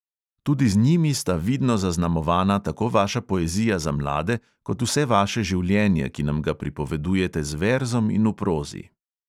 Tudi z njimi sta vidno zaznamovana tako vaša poezija za mlade kot vse vaše življenje, ki nam ga pripovedujete z verzom in v prozi.